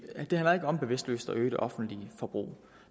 af det handler ikke om bevidstløst at øge det offentlige forbrug